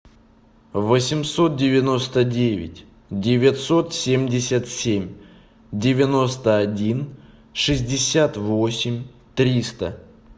восемьсот девяносто девять девятьсот семьдесят семь девяносто один шестьдесят восемь триста